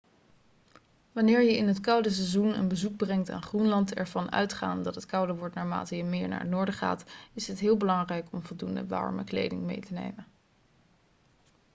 wanneer je in het koude seizoen een bezoek brengt aan groenland ervan uitgaande dat het kouder wordt naarmate je meer naar het noorden gaat is het heel belangrijk om voldoende warme kleding mee te nemen